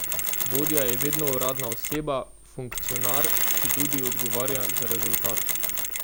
Vodja je vedno uradno oseba, funkcionar, ki tudi odgovarja za rezultat.